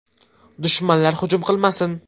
Dushmanlar hujum qilmasin!